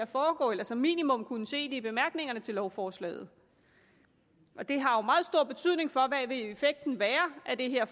foregå eller som minimum kunne se det i bemærkningerne til lovforslaget det har jo meget stor betydning hvad vil effekten være af det her